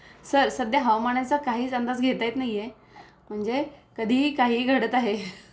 sir सध्या हवामाना चा काहीच अंदाजच घेता येत नाहीये म्हणजे कधीही काही ही घडत आहे